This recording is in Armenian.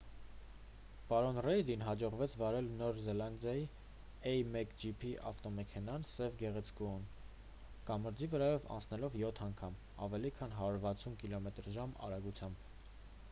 պարոն ռեյդին հաջողվեց վարել նոր զելանդիայի a1gp ավտոմեքենան՝ սև գեղեցկուհուն՝ կամրջի վրայով անցնելով յոթ անգամ՝ ավելի քան 160 կմ/ժ արագությամբ։